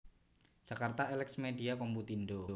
Jakarta Elex Media Komputindo